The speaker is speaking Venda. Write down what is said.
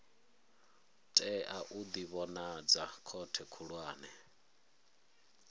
tea u ḓivhonadza khothe khulwane